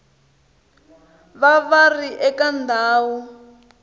va va ri eka ndhawu